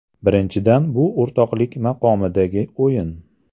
Birinchidan, bu o‘rtoqlik maqomidagi o‘yin.